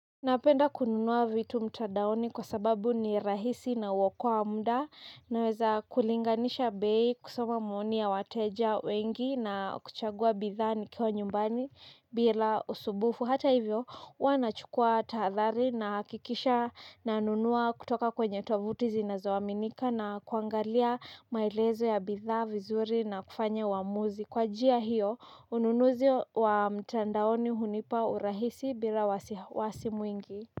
Napenda kununua vitu mtandaoni kwa sababu ni rahisi na huokoa muda naweza kulinganisha bei kusoma maoni ya wateja wengi na kuchagua bidhaa nikiwa nyumbani bila usumbufu. Hata hivyo huwa nachukua tadhari nahakikisha nanunua kutoka kwenye tovuti zinazoaminika na kuangalia maelezo ya bidhaa vizuri na kufanya uamuzi. Kwa njia hiyo, ununuzi wa mtandaoni hunipa urahisi bila wasiwasi mwingi.